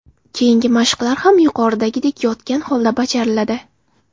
Keyingi mashqlar ham yuqoridagidek yotgan holda bajariladi.